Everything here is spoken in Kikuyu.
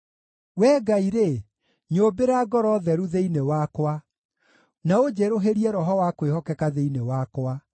Wee Ngai-rĩ, nyũmbĩra ngoro theru thĩinĩ wakwa, na ũnjerũhĩrie roho wa kwĩhokeka thĩinĩ wakwa.